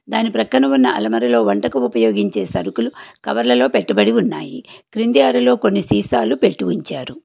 దాని ప్రక్కన ఉన్న అల్మర లో వంటకు ఉపయోగించే సరుకులు కవర్లలో పెట్టుబడి ఉన్నాయి క్రింది అరలో కొన్ని సీసాలు పెట్టి ఉంచారు.